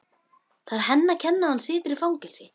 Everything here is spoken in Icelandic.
Það er henni að kenna að hann situr í fangelsi.